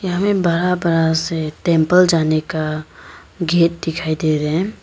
हमें बड़ा बड़ा से टेंपल जाने का गेट दिखाई दे रहे हैं।